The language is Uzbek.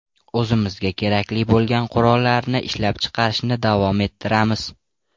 O‘zimizga kerakli bo‘lgan qurollarni ishlab chiqarishni davom ettiramiz.